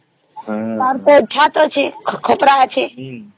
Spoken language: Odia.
ଆମର ଛାତ ଅଛି ଖପରା ଅଛି